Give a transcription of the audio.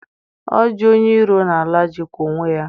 Oji onye iro n'ala jikwa onwe ya